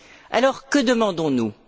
Alors, que demandons nous?